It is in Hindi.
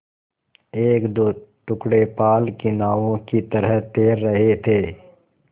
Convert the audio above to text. एकदो टुकड़े पाल की नावों की तरह तैर रहे थे